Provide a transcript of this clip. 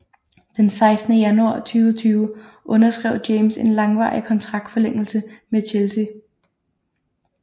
Den 16 januar 2020 underskrev James en langvarig kontraktforlængelse med Chelsea